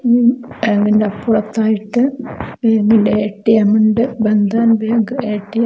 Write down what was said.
ഉം ബാങ്കിൻറെ അപ്പുറത്തായിട്ട് ബാങ്കിൻറെ എ_ടി_എം ഉണ്ട് ബന്ധൻ ബാങ്ക് എടിഎം.